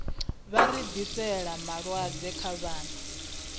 vha rathiseli malwadze khavho na